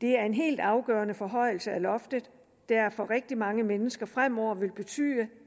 det er en helt afgørende forhøjelse af loftet der for rigtig mange mennesker fremover vil betyde